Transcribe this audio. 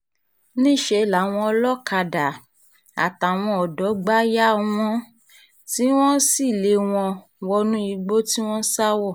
níṣẹ́ làwọn olókàdá um àtàwọn ọ̀dọ́ gbà yà wọ́n um tí wọ́n sì lé wọn wọnú igbó tí wọ́n sá wọ̀